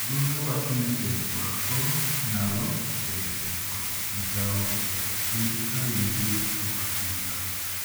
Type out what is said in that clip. Nonro wacho ni timo orako nyalo bende bet kod migao e duoko piny atari mag yudo tuo Alzheimer.